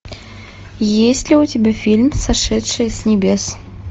есть ли у тебя фильм сошедшие с небес